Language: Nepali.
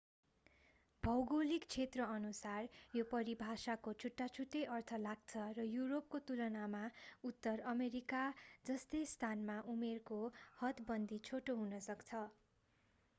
भौगोलिक क्षेत्रअनुसार यो परिभाषाको छुट्टाछुट्टै अर्थ लाग्छ र युरोपको तुलनामा उत्तर अमेरिका जस्ता स्थानमा उमेरको हदबन्दी छोटो हुन सक्छ